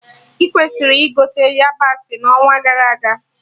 Ị kwesịrị ịgote yabasị na onwa gara aga